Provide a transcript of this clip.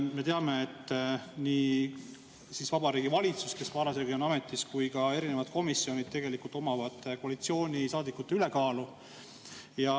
Me teame, et nii Vabariigi Valitsuses, kes parasjagu ametis on, kui ka erinevates komisjonides on koalitsioonisaadikute ülekaal.